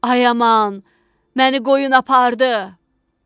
Ay aman, məni qoyun apardı!